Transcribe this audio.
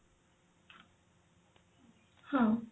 ହଁ